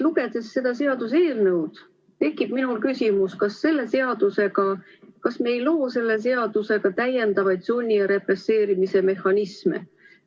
Lugedes nüüd seda seaduseelnõu, tekib minul küsimus, kas me ei loo selle seadusega täiendavaid sunni- ja represseerimise mehhanisme.